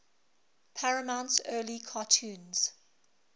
paramount's early cartoons